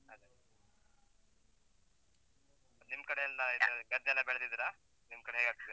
ಅದೇ ಮತ್ತ್ ನಿಮ್ಕಡೆಯೆಲ್ಲ ಇದು ಗದ್ದೆಯೆಲ್ಲ ಬೆಳ್ದಿದ್ದೀರ? ನಿಮ್ಕಡೆ ಹೇಗ್ ಆಗ್ತದೆ?